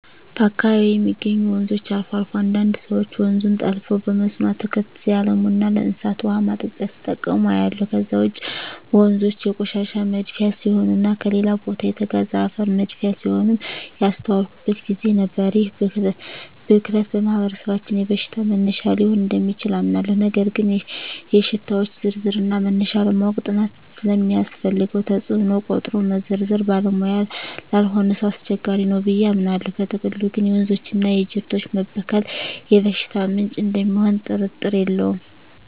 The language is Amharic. በአካባቢየ የሚገኙ ወንዞች አልፎ አልፎ አንዳንድ ሰወች ወንዙን ጠልፈው በመስኖ አትክልት ሲያለሙና ለእንስሳት ውሃ ማጠጫ ሲጠቀሙ አያለሁ። ከዛ ውጭ ወንዞ የቆሻሻ መድፊያ ሲሆኑና ከሌላ ቦታ የተጋዘ አፈር መድፊያ ሲሆኑም ያስተዋልኩበት ግዜ ነበር። ይህ ብክለት በማህበረሰባችን የበሽታ መነሻ ሊሆን እደሚችል አምናለሁ ነገር ግን የሽታወች ዝርዝርና መነሻ ለማወቅ ጥናት ስለሚያስፈልገው ተጽኖውን ቆጥሮ መዘርዘር ባለሙያ ላልሆነ ሰው አስቸጋሪ ነው ብየ አምናለው። በጥቅሉ ግን የወንዞችና የጅረቶች መበከል የበሽታ ምንጭ እደሚሆኑ ጥርጥር የለውም።